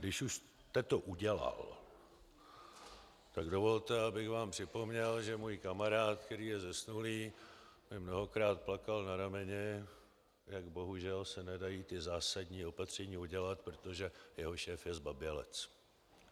Když už jste to udělal, tak dovolte, abych vám připomněl, že můj kamarád, který je zesnulý, mi mnohokrát plakal na rameni, jak bohužel se nedají ta zásadní opatření udělat, protože jeho šéf je zbabělec.